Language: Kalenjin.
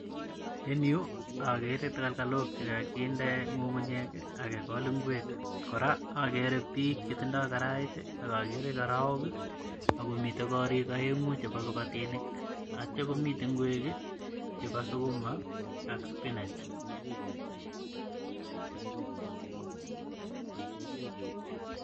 En yuu okere takalkalok chekokinde ngungunyek kii ak kegol ingwek koraa okere bik chetindo karait tii ak okere karaoke ako miten korik oengu chebo kipatinik ak ityo komiten ingwek kii chebo sukuma ak spinach.